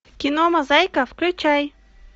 кино мозаика включай